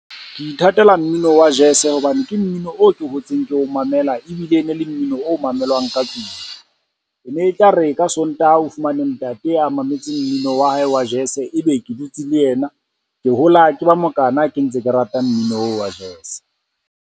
Ke ithatela mmino wa jazz-e hobane ke mmino o ke hotseng ke o mamela ebile e ne le mmino o mamelwang ka tlung. E ne e tla re ka Sontaha o fumane ntate a mametse mmino wa hae wa jazz-e, ebe ke dutse le ena. Ke hola ke ba mokana ke ntse ke rata mmino wa jazz-e.